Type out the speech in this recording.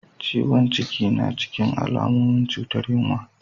Ciwon cikin na cikin alamomin cutar yinwa.